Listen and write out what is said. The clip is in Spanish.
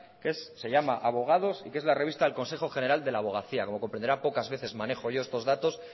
que se llama abogados y que es la revista del consejo general de la abogacía como comprenderá poca veces manejo yo estos datos